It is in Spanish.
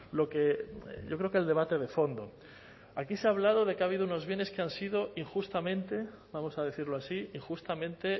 lo que yo creo que el debate de fondo aquí se ha hablado de que ha habido unos bienes que han sido injustamente vamos a decirlo así injustamente